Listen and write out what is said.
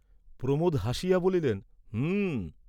প্রমোদ হাসিয়া বলিলেন, "হুঁ।"